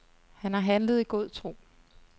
Han har handlet i god tro.